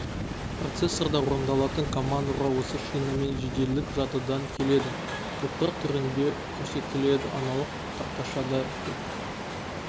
процессорда орындалатын командалар осы шинамен жеделдік жадыдан келеді топтар түрінде көрсетіледі аналық тақшадағы тек